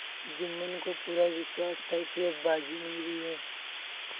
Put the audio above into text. जुम्मन को पूरा विश्वास था कि अब बाजी मेरी है